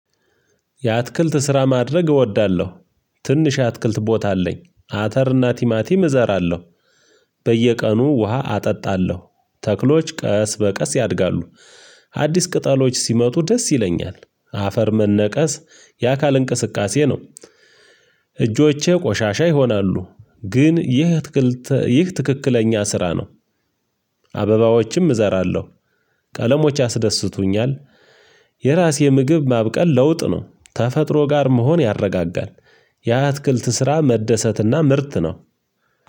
የአትክልት ስራ ማድረግ እወዳለሁ። ትንሽ የአትክልት ቦታ አለኝ አተር እና ቲማቲም እዘራለሁ። በየቀኑ ውሃ አጠጣለሁ ተክሎች ቀስ በቀስ ያድጋሉ። አዲስ ቅጠሎች ሲመጡ ደስ ይለኛል። አፈር መነቀስ የአካል እንቅስቃሴ ነው። እጆቼ ቆሻሻ ይሆናሉ ግን ይህ አትክልት ይህ ትክክለኛ ስራ ነው። አበባዎችም እዘራለሁ። ቀለሞች ያስደስቱኛል። የራሴ ምግብ ማብቀል ለውጥ ነው ተፈጥሮ ጋር መሆን ያረጋጋል። ያ የአትክልት ስራ መደሰትና ምርት ነው።